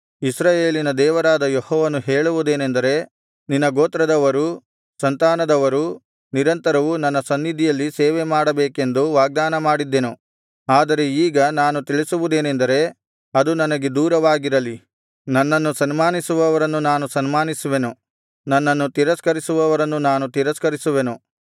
ಇಸ್ರಾಯೇಲಿನ ದೇವರಾದ ಯೆಹೋವನು ಹೇಳುವುದೇನೆಂದರೆ ನಿನ್ನ ಗೋತ್ರದವರೂ ಸಂತಾನದವರೂ ನಿರಂತರವೂ ನನ್ನ ಸನ್ನಿಧಿಯಲ್ಲಿ ಸೇವೆಮಾಡಬೇಕೆಂದು ವಾಗ್ದಾನಮಾಡಿದ್ದೆನು ಆದರೆ ಈಗ ನಾನು ತಿಳಿಸುವುದೇನಂದರೆ ಅದು ನನಗೆ ದೂರವಾಗಿರಲಿ ನನ್ನನ್ನು ಸನ್ಮಾನಿಸುವವರನ್ನು ನಾನು ಸನ್ಮಾನಿಸುವೆನು ನನ್ನನ್ನು ತಿರಸ್ಕರಿಸುವವರನ್ನು ನಾನು ತಿರಸ್ಕರಿಸುವೆನು